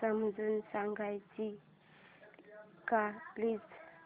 समजून सांगशील का प्लीज